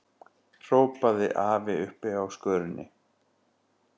hrópaði afi uppi á skörinni.